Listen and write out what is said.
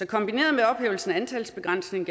kombineret med ophævelsen af antalsbegrænsningen